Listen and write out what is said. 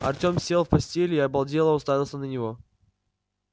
артём сел в постели и обалдело уставился на него